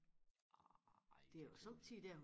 Nej det var sådan